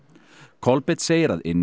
Kolbeinn segir að inni